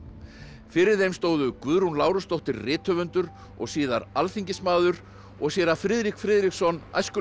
fyrir þeim stóðu Guðrún Lárusdóttir rithöfundur og síðar alþingismaður og séra Friðrik Friðriksson